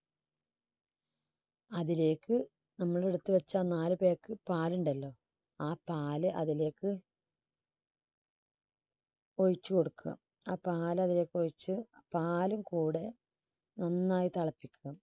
അതിലേക്ക് നമ്മൾ എടുത്തുവച്ച ആ നാല് pack പാലുണ്ടല്ലോ ആ പാല് അതിലേക്ക് ഒഴിച്ചുകൊടുക്കുക. ആ പാല് അതിലേക്ക് ഒഴിച്ച് പാലും കൂടെ നന്നായി തിളപ്പിക്കുക.